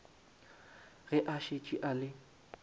ge a šetše a le